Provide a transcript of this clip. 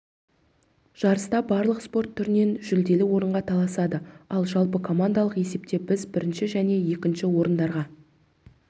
жарыста барлық спорт түрінен жүлделі орынға таласады ал жалпыкомандалық есепте біз бірінші және екінші орындарға